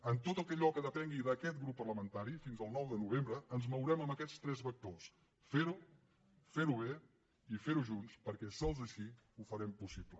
en tot allò que depengui d’aquest grup parlamentari fins al nou de novembre ens mourem en aquests tres vectors fer ho fer ho bé i fer ho junts perquè sols així ho farem possible